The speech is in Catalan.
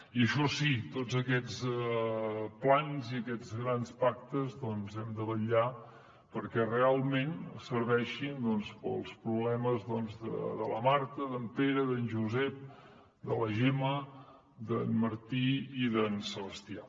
i això sí tots aquests plans i aquests grans pactes doncs hem de vetllar perquè realment serveixin per als problemes de la marta d’en pere d’en josep de la gemma d’en martí i d’en sebastià